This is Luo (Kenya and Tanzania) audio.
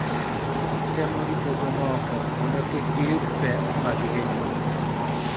Temo rito jomoko mondo kik giyud pek mag hinyruok